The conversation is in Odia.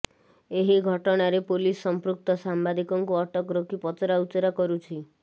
ଏହି ଘଟଣାରେ ପୋଲିସ ସମ୍ପୃକ୍ତ ସାମ୍ବାଦିକଙ୍କୁ ଅଟକ ରଖି ପଚରାଉଚରା କରୁଛି